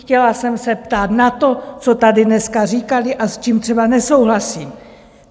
Chtěla jsem se ptát na to, co tady dneska říkali a s čím třeba nesouhlasím.